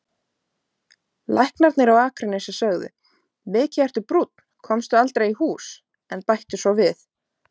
Læknarnir á Akranesi sögðu: Mikið ertu brúnn, komstu aldrei í hús, en bættu svo við